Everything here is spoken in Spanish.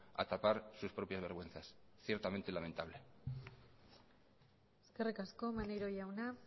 a tapar sus propias vergüenzas ciertamente lamentable eskerrik asko maneiro jauna